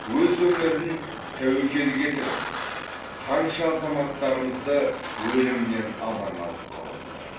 өз өмірін тәуекелге тігіп қанша азаматтарымызды өлімнен аман алып қалып отыр